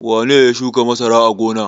Wane ne ya shuka masara a gona?